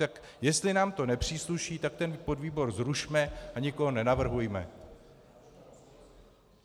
Tak jestli nám to nepřísluší, tak ten podvýbor zrušme a nikoho nenavrhujme.